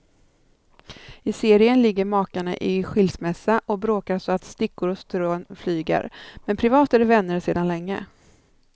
I serien ligger makarna i skilsmässa och bråkar så att stickor och strån flyger, men privat är de vänner sedan länge.